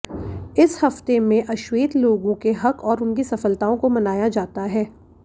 इस हफ्ते में अश्वेत लोगों के हक और उनकी सफलताओं को मनाया जाता है